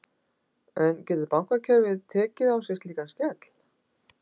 En getur bankakerfið tekið sig slíkan skell?